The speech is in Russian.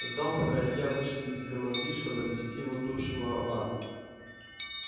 ждал пока илья вышибет себе мозги чтобы отвести его душу в ад